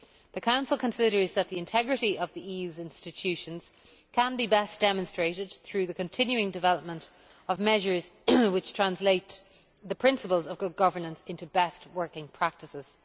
The Council considers that the integrity of the EU's institutions can be best demonstrated through the continuing development of measures which translate the principles of good governance into best working practices.